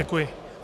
Děkuji.